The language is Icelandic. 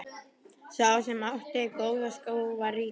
Sá sem átti góða skó var ríkur.